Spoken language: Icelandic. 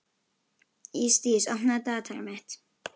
Ísdís, opnaðu dagatalið mitt.